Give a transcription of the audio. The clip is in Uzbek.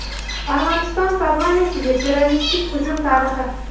Armaniston parlamentiga terroristik hujum tarixi.